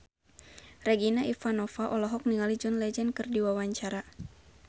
Regina Ivanova olohok ningali John Legend keur diwawancara